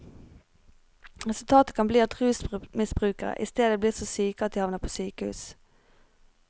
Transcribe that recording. Resultatet kan bli at rusmisbrukerne isteden blir så syke at de havner på sykehus.